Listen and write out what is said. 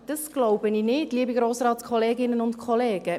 Das glaube ich nicht, liebe Grossratskolleginnen und -kollegen.